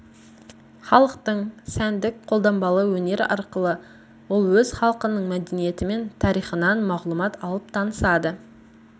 халықтық сәндік-қолданбалы өнер арқылы ол өз халқының мәдениетімен тарихынан мағлұмат алып танысады